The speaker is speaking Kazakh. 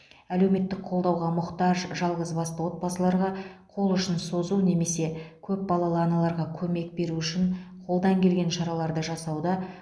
әлеуметтік қолдауға мұқтаж жалғызбасты отбасыларға қол ұшын созу немесе көпбалалы аналарға көмек беру үшін қолдан келген шараларды жасауда